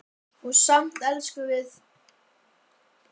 Og samt elskumst við.